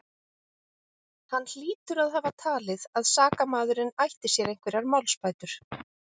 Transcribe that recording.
Hann hlýtur að hafa talið, að sakamaðurinn ætti sér einhverjar málsbætur.